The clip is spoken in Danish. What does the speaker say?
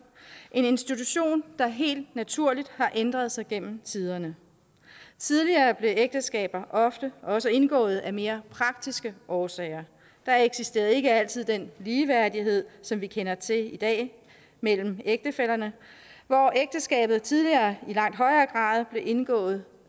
en institution der helt naturligt har ændret sig gennem tiderne tidligere blev ægteskaber ofte også indgået af mere praktiske årsager der eksisterede ikke altid den ligeværdighed som vi kender til i dag mellem ægtefællerne og ægteskabet blev tidligere i langt højere grad indgået